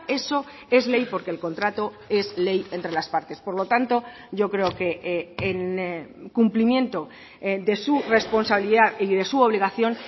eso es ley porque el contrato es ley entre las partes por lo tanto yo creo que en cumplimiento de su responsabilidad y de su obligación